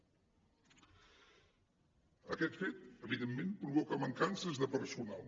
aquest fet evidentment provoca mancances de personal